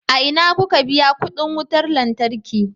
A ina kuka biya kuɗin wutar lantarki?